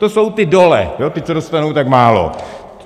To jsou ti dole, ti, co dostanou tak málo.